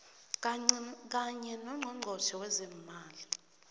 kanye nongqongqotjhe wezeemali